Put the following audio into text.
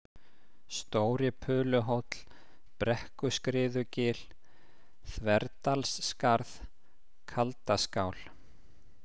Stóri-Puluhóll, Brekkuskriðugil, Þverdalsskarð, Kaldaskál